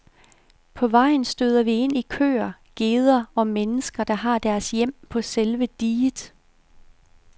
På vejen støder vi ind i køer, geder og mennesker, der har deres hjem på selve diget.